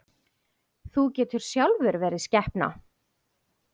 Þú getur sjálfur verið skepna!